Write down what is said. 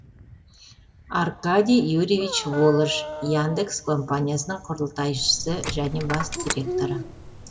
аркадий юрьевич волож яндекс компаниясының құрылтайшысы және бас директоры